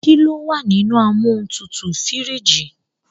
Ki lo wà nínú amóhuntutù( fíríìjì)?